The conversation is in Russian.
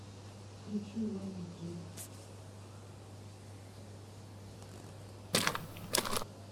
включи вабити